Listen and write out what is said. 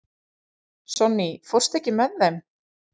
Sonný, ekki fórstu með þeim?